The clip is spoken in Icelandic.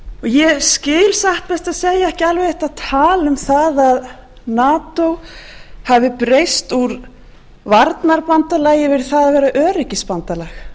ég skil satt best að segja ekki þetta tal um það að nato hafi breyst úr varnarbandalagi yfir í það að vera öryggisbandalag